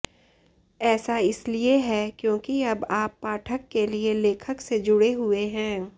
ऐसा इसलिए है क्योंकि अब आप पाठक के लिए लेखक से जुड़े हुए हैं